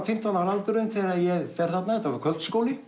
fimmtán ára aldurinn þegar ég fer þarna þetta var